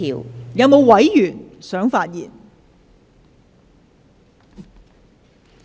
是否有委員想發言？